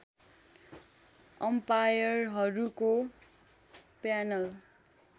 अम्पायरहरूको panel